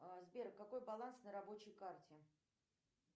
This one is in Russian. сбер какой баланс на рабочей карте